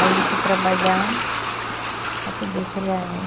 Aí eu fui trabalhar para poder criar ela.